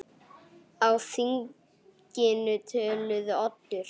Á þinginu töluðu Oddur